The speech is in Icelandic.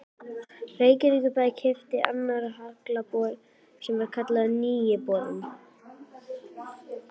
Reykjavíkurbær keypti annan haglabor sinn sem var kallaður Nýi borinn.